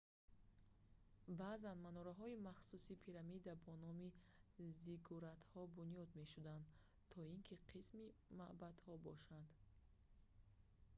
баъзан манораҳои махсуси пирамидӣ бо номи зиггуратҳо бунёд мешуданд то ин ки қисми маъбадҳо бошанд